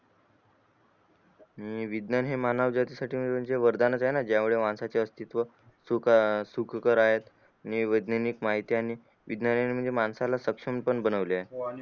आणि विज्ञान हे मानव जाती साठी वरदान च आहे ना ज्या मुळे माणसा चे अस्तित्व सुख सुखकर आहेत आणि वैज्ञानिक माहिती आणि विज्ञाने माणसाला सक्षम पण बनवले